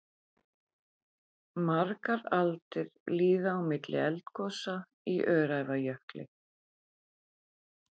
Margar aldir líða á milli eldgosa í Öræfajökli.